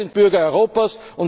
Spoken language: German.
können. Beide sind Bürger